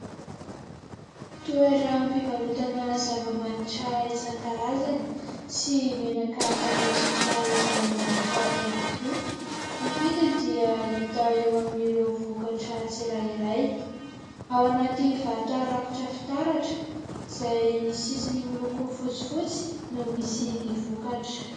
Toeram-pivarotana zava-manitra isan-karazany sy menaka fanosotra izay manitra ihany koa, ny vidiny dia hita eo amin'ireo vokatra tsirairay. Ao anaty vata rakotra fitaratra izay misy sisiny miloko fotsifotsy no misy ny vokatra.